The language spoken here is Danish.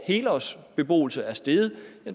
helårsbeboelse er steget